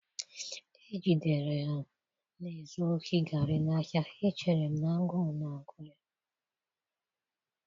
ejidere ya na-ezu ohi garri n'ahịa, echere m na agụụ na-agụ ya.